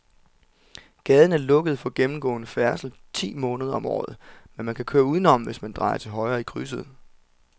Gaden er lukket for gennemgående færdsel ti måneder om året, men man kan køre udenom, hvis man drejer til højre i krydset.